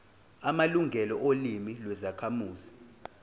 amalungelo olimi lwezakhamuzi